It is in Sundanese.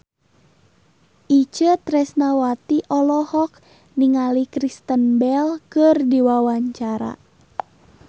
Itje Tresnawati olohok ningali Kristen Bell keur diwawancara